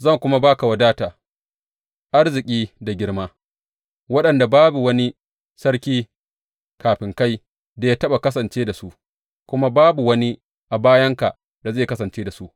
Zan kuma ba ka wadata, arziki da girma, waɗanda babu wani sarki kafin kai da ya taɓa kasance da su kuma babu wani a bayanka da zai kasance da su.